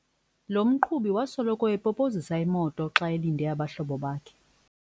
Lo mqhubi wasoloko epopozisa imoto xa elinde abahlobo bakhe.